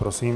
Prosím.